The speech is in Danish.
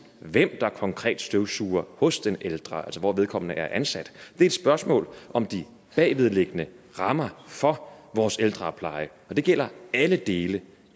hvem der konkret støvsuger hos den ældre altså hvor vedkommende er ansat det er et spørgsmål om de bagvedliggende rammer for vores ældrepleje og det gælder alle dele